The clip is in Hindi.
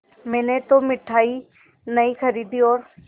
मैंने तो मिठाई नहीं खरीदी और